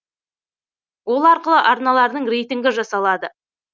ол арқылы арналардың рейтингі жасалады